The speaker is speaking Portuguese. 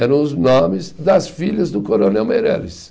Eram os nomes das filhas do coronel Meireles.